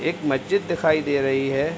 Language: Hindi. एक मस्जिद दिखाई दे रही है।